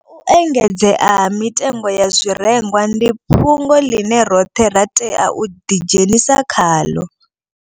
Zwa u engedzea ha mitengo ya zwirengwa ndi fhungo ḽine roṱhe ra tea u ḓi dzhenisa khaḽo